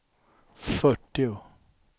fyrtio